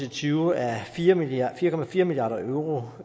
og tyve er fire milliard fire milliard euro